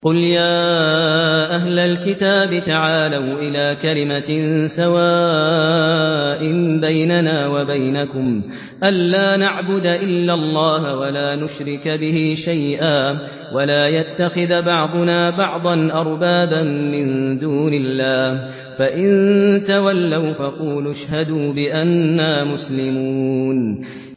قُلْ يَا أَهْلَ الْكِتَابِ تَعَالَوْا إِلَىٰ كَلِمَةٍ سَوَاءٍ بَيْنَنَا وَبَيْنَكُمْ أَلَّا نَعْبُدَ إِلَّا اللَّهَ وَلَا نُشْرِكَ بِهِ شَيْئًا وَلَا يَتَّخِذَ بَعْضُنَا بَعْضًا أَرْبَابًا مِّن دُونِ اللَّهِ ۚ فَإِن تَوَلَّوْا فَقُولُوا اشْهَدُوا بِأَنَّا مُسْلِمُونَ